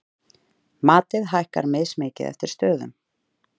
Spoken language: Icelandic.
Matið hækkar mismikið eftir stöðum.